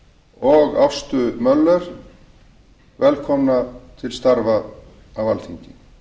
og ástu möller velkomna til starfa á alþingi